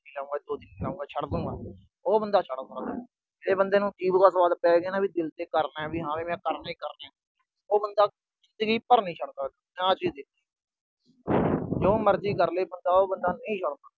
ਸੋਚੀ ਜਾਊ ਵੀ ਛੱਡ ਦੂਗਾ, ਉਹ ਬੰਦਾ ਛੱਡ ਸਕਦਾ। ਜੇ ਬੰਦੇ ਨੂੰ ਜੀਭ ਦਾ ਸੁਆਦ ਪੈ ਗਿਆ ਨਾ, ਵੀ ਦਿਲ ਤੋਂ ਕਰਨਾ ਵੀ ਹਾਂ ਵੀ ਕਰਨਾ ਹੀ ਕਰਨਾ, ਉਹ ਬੰਦਾ ਜਿੰਦਗੀ ਭਰ ਨੀ ਛੱਡਦਾ, ਮੈਂ ਆਹ ਚੀਜ ਦੇਖੀ ਆ। ਜੋ ਮਰਜੀ ਕਰਲੇ ਬੰਦਾ, ਉਹ ਬੰਦਾ ਨਹੀਂ ਛੱਡਦਾ।